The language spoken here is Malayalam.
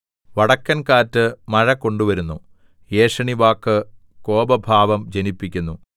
വടക്കൻ കാറ്റ് മഴ കൊണ്ടുവരുന്നു ഏഷണിവാക്ക് കോപഭാവം ജനിപ്പിക്കുന്നു